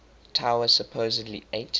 tower supposedly ate